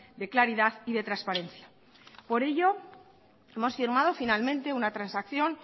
de claridad y de transparencia por ello hemos firmado finalmente una transacción